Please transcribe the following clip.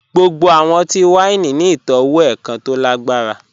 Gbogbo awọn ọtí-wàíní ni itọwo èkàn tó lágbarà.